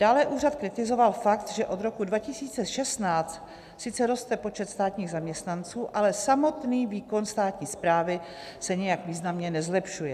Dále úřad kritizoval fakt, že od roku 2016 sice roste počet státních zaměstnanců, ale samotný výkon státní správy se nijak významně nezlepšuje.